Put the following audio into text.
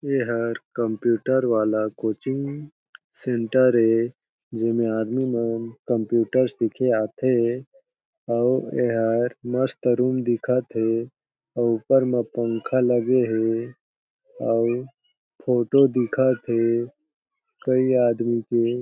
एहर कंप्यूटर वाला coaching centre ए जेमे आदमी मन कंप्यूटर सीखे आथे अउ एहर मस्त रूम दिखत हे अउ ऊपर में पंखा लगे हे अउ फोटो दिखत हे कई आदमी हे।